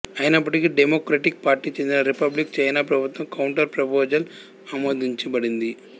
అయినప్పటికీ డెమొక్రటిక్ పార్టీకి చెందిన రిపబ్లిక్ చైనా ప్రభుత్వం కౌంటర్ ప్రపోజల్ ఆమోదించబడింది